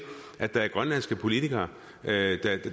er grønlandske politikere